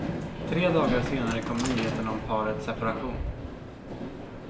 Tre dagar senare kom nyheten om parets separation.